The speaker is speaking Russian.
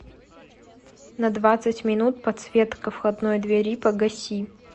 на двадцать минут подсветка входной двери погаси